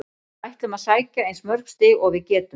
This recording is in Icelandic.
Við ætlum að sækja eins mörg stig og við getum.